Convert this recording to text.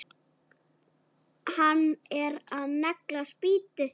Hann er að negla spýtu.